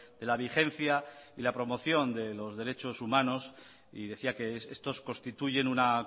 de la vigencia y la promoción de los derechos humanos y decía que estos constituyen una